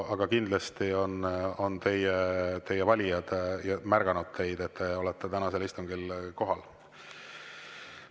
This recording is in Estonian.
Aga kindlasti on teie valijad märganud, et te olete tänasel istungil kohal.